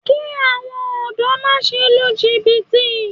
Kí àwọn ọ̀dọ́ má se lu jìbìtì